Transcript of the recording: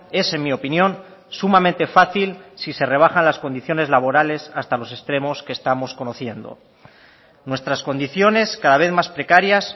es en mi opinión sumamente fácil si se rebajan las condiciones laborales hasta los extremos que estamos conociendo nuestras condiciones cada vez más precarias